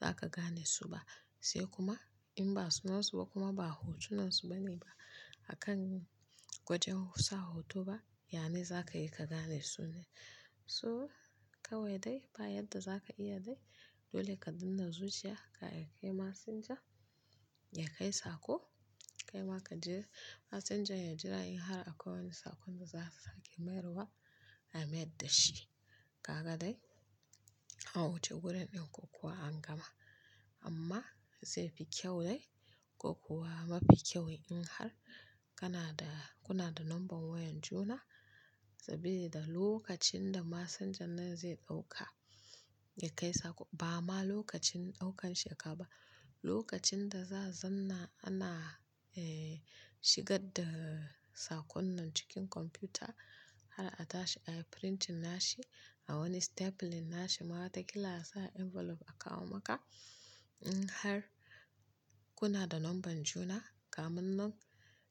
zaka ganesu ba. Sai kuma in ba su nan su ba kuma ba hotu nan su ba ne ba akan gwajin sa hoto ba, yane zaka yika gane su ne. Hmm kawai dai ba yadda zaka iya dai dole ka danne. Kai ma ka je messenger ya jira in har akwai wani sakon da za su sake mayarwa, ya mayar da shi. Kaga dai an wuce gurin ɗin ko kuwa an gama. Amma zai fi kyau dai ko kuwa mafi kyau in har kana da kuna da number wayan juna sabilida lokacin da massenger nan zai ɗauka ya kai sako ba ma lokacin ɗaukan shi aka ba lokacin da za zanna ana eh shigar da sakon nan cikin kwamfuta har a tashi a yi printing nashi a wani stapling nashi ma watakila a sa envelope a kawo maka. In har kuna da number juna, kamun nan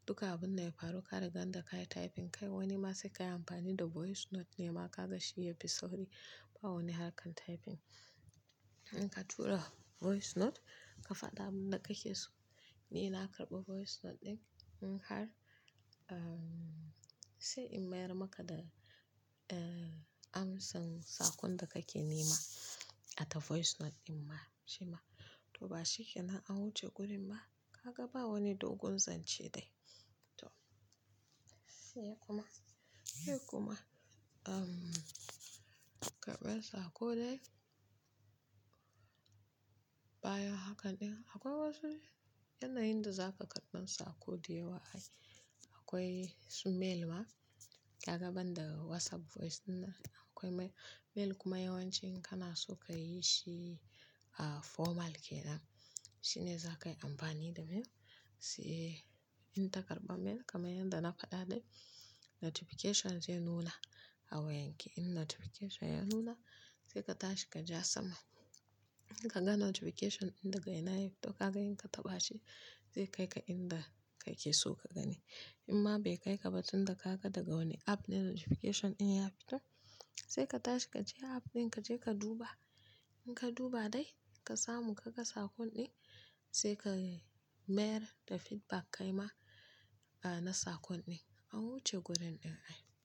duka abun ne ya faru ka riga da ka yi typing kai wani ma sai ka yi amfani da voice note ne ma ka ga shi ya fi sauri ba wani har kan typing. In ka tura voice note ka faɗa abin da kake so. Ni na karɓa voice note ɗin in har ahm sai in mayar maka da eh amsan sakon da kake nema a ta voice note ɗin ma shi ma. To ba shi ke nan an wuce gurin ba. Kaga ba wani dogon zance dai. To sai kuma sai kuma ahm karɓar sako dai baya haka ɗin. Akwai wasu yana yinda za ka karɓi sakon daya wa ai. Akwai su mail ma kaga ban da WhatsApp voice ɗinnan akwai mail, mail kuma yawanci in kana so ka yi shi a formal ke nan shine za ka yi amfani da mail. Sai in ta karɓa mail kamar yadda na faɗa dai notification zai nuna a wayanki. In notification ya nuna sai ka tashi ka ja sama. In ka ga notification ɗin daga ina ya fito ka ga in ka taɓa shi zai kai ka inda kake so ka gani. In ma bai kai ka ba tunda ka ga daga wani app ne notification ɗin ya fito sai ka tashi ka je app ɗin ka je ka duba. In ka duba dai ka samu ka ga sakon ɗin sai ka mayar da feedback kai ma a na sakon ɗin. An wuce gurin ɗin ai.